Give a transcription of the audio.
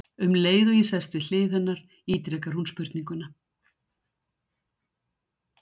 Um leið og ég sest við hlið hennar ítrekar hún spurninguna.